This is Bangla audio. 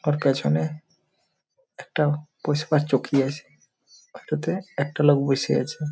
ওর পেছনে একটা বসবার চকি আছে ওটাতে একটা লোক বসে আছে ।